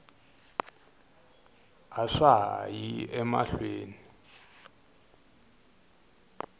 a swa ha yi emahlweni